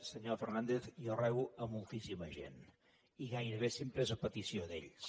senyor fernàndez jo rebo moltíssima gent i gairebé sempre és a petició d’ells